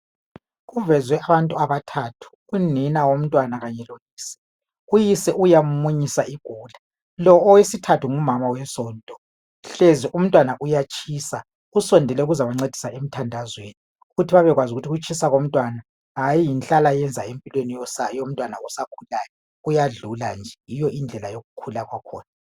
Kuvezwe abantu abathathu unina womntwana kanye loyise, uyise uyamunyisa igula, lo owesithathu ngumama wesonto hlezi umntwana uyatshisa, usondele ukuzobancedisa emthandazweni ukuthi babekwazi ukuthi ukutshisa komntwana hayi yinhlala yenza empilweni yomntwana osakhulayo kuyadlula nje, yiyo indlela yokukhula kwakhona.